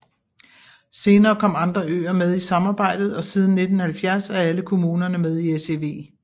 Senere kom andre øer med i samarbejdet og siden 1970 er alle kommunerne med i SEV